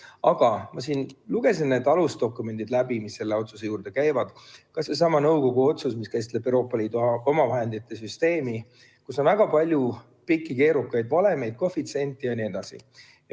Aga ma lugesin need alusdokumendid läbi, mis selle otsuse juurde käivad, ka sellesama nõukogu otsuse, mis käsitleb Euroopa Liidu omavahendite süsteemi, kus on väga palju pikki keerukaid valemeid, koefitsiente jne.